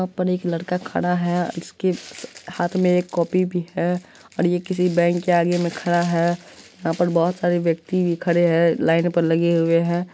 हां पर एक लड़का खड़ा है इसके हाथ में एक कॉपी भी है और ये किसी बैंक के आगे में खड़ा है यहां पर बहुत सारे व्यक्ति भी खड़े हैं लाइन पर लगे हुए हैं ।